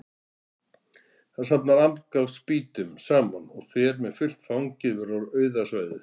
Hann safnar afgangs spýtum saman og fer með fullt fangið yfir á auða svæðið.